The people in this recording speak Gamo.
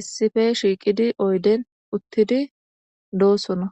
issife shiiqidi oyden uttidi doosona.